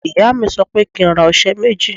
Ìyá mi sọ pé kí n ra ọṣẹ méjì.